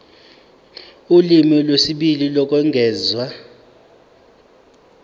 ulimi lwesibili lokwengeza